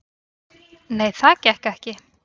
"""Nei, það gekk ekki."""